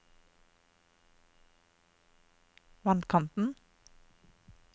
vannkanten